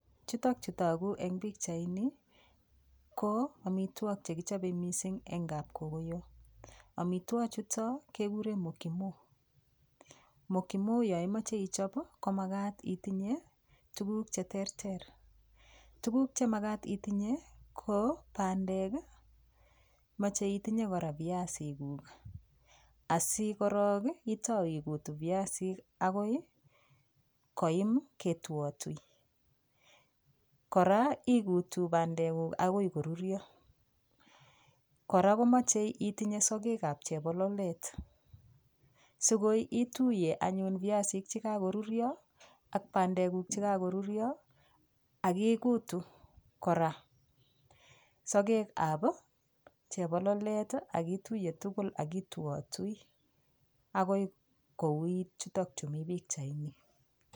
Chutok chu tagu eng pichaini ko amitwogik che kichope mising eng kapkogoyo. Amitwogik chuto keguren mokimo. Mokimo yo imoche ichop ii, ko magat itinye tuguk che terter. Tuguk che magat itenye ko bandek ii, moche itinye kora piasikuk asigorok ii itau igut piasik agoi koyim ketuatui. Kora igutu bandeguk agoi korurio. Kora ko mache itenye sogekab chebololet, sigoi ituiye anyun piasik che kagorurio ak bandekuk che kagorurio ak igutu kora sogekab chebololet ak ituiye tugul ak ituatui agoi koukit chuto chu mi pichaini.